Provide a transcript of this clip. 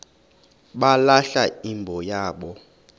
balahla imbo yabo